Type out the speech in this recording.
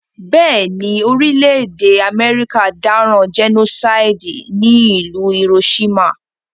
Béèni, orílẹ̀dè America dáràn genocide ní ìlú Hiroshima